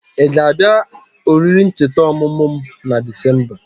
I ga abia oriri ncheta omumu m na Disemba?